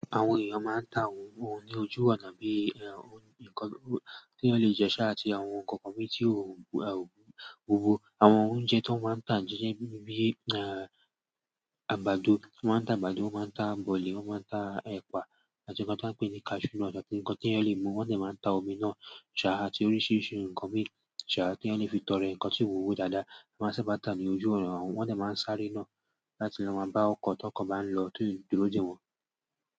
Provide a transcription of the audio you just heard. Àwọn èèyàn máa ń ta àwọn oúnjẹ ní ojú ọ̀nà bí ẹ̀ ń kọ, tí wọ́n lè jẹ sáà àti àwọn nǹkan kan tí ó ń wúwo. Àwọn oúnjẹ tó máa ń tà jíjẹ bíi àgbàdo, wọ́n máa ń ta àgbàdo, wọ́n máa ń ta bọ̀lìì, wọ́n máa ń ta ẹ̀pà, àti nǹkan tí wọ́n ń pè ní cashew nuts àti nǹkan tí wọ́n lè mu. Wọ́n sì máa ń ta omi náà, ṣàrà àti oríṣiríṣi nǹkan mí, ṣàrà tí wọ́n lè fi tọrẹ nǹkan tí ń wúwo dáadáa. Wọ́n máa ń sábà tà á ní ojú ọ̀nà wọ́n sì máa ń sáré náà láti lọ máa bá ọkọ̀ tí ọkọ̀ bá ń lọ tó ti dúró dè wọ́n.